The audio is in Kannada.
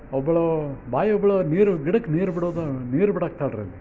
ಒಬ್ಬಲೂ ಬಾಯಿ ಉಗುಳು ನೀರ್ ಗಿಡಕ್ ನೀರ್ ಬಿಡೋ ನೀರ್ ಬಿಡಕ್ಕತಾಳ್ರಿ.